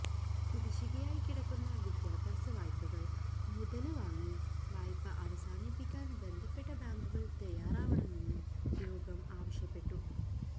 കുടിശ്ശികയായി കിടക്കുന്ന വിദ്യാഭ്യാസ വായ്പകള് മുതല് വാങ്ങി വായ്പ അവസാനിപ്പിക്കാന് ബന്ധപ്പെട്ട ബാങ്കുകള് തയ്യാറാവണമെന്ന് യോഗം ആവശ്യപ്പെട്ടു